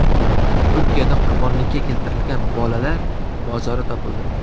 Turkiyada qurbonlikka keltirilgan bolalar mozori topildi.